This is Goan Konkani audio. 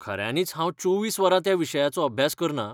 खऱ्यांनीच हांव चोवीस वरां त्या विशयाचो अभ्यास करना.